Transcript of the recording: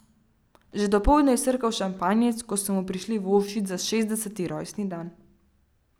Že dopoldne je srkal šampanjec, ko so mu prišli voščit za šestdeseti rojstni dan.